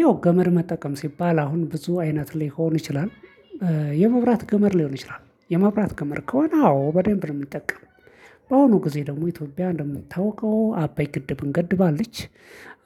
ያው ገመር መጠቀም ሲባል አሁን ብዙ አይነት ሊሆን ይችላል። የመብራት ገመድ ሊሆን ይችላል የመብራት ገመድ ከሆነ አዎ በደንብ ነው እምጠቀመው በአሁኑ ጊዜ ደግሞ ኢትዮጵያ እንደሚታውቀው አባይ ግድብን ገድባለች።